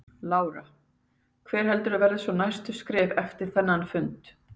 Lára: Hver heldurðu að verði svona næstu skref eftir þennan fund?